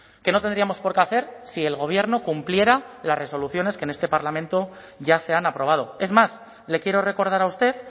que no tendríamos por qué hacer si el gobierno cumpliera las resoluciones que en este parlamento ya se han aprobado es más le quiero recordar a usted